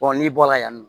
n'i bɔra yan nɔ